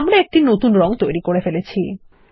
আমরা একটি নতুন রঙ তৈরি করে ফেলেছি160